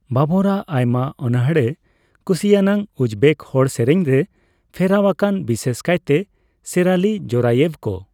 ᱵᱟᱵᱚᱨᱟᱜ ᱟᱭᱢᱟ ᱚᱱᱚᱲᱦᱮᱸ ᱠᱩᱥᱤᱭᱟᱱᱟᱜ ᱩᱡᱽᱵᱮᱠ ᱦᱚᱲ ᱥᱮᱨᱮᱧ ᱨᱮ ᱯᱷᱮᱨᱟᱣ ᱟᱠᱟᱱᱟ, ᱵᱤᱥᱮᱥ ᱠᱟᱭᱛᱮ ᱥᱮᱨᱟᱞᱤ ᱡᱳᱨᱟᱭᱮᱵᱷ ᱠᱚ ᱾